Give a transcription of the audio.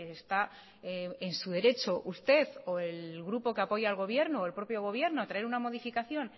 está en su derecho usted o el grupo que apoya al gobierno o el propio gobierno a traer una modificación